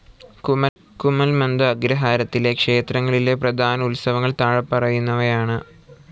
കുഴൽമന്ദം അഗ്രഹാരത്തിലെ ക്ഷേത്രങ്ങളിലെ പ്രധാന ഉത്സവങ്ങൾ താഴെപ്പറയുന്നവ ആണ്.